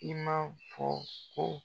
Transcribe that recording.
I m'a fɔ ko.